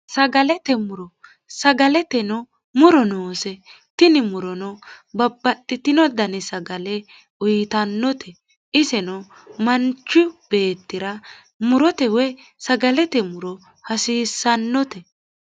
sagalete muro sagaleteno muro noose tini murono babbaxxitino dani sagale uyitannote isino manchu beettira murote woy sagalete muro hasiissannote